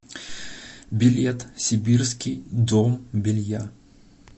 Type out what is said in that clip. билет сибирский дом белья